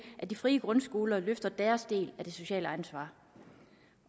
at de frie grundskoler løfter deres del af det sociale ansvar